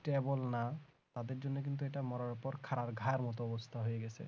stable না তাদের জন্য কিন্তু এটা মরার উপর খাড়ার ঘায়ের মতো অবস্থা হয়েছে